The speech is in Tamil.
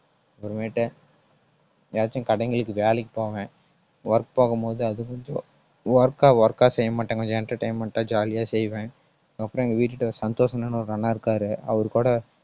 அப்புறமேட்டு ஏதாச்சும் கடைங்களுக்கு வேலைக்கு போவேன். work போகும்போது அது கொஞ்சம் work ஆ work ஆ செய்ய மாட்டாங்க கொஞ்சம் entertainment ஆ jolly ஆ செய்வேன் அப்புறம் எங்க வீட்டுகிட்ட சந்தோஷ் அண்ணன் ஒரு அண்ணன் இருக்காரு. அவர்கூட